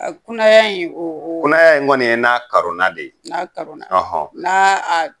A kunaya in o o kunaya kɔni ye na karona de ye n'a karona n'a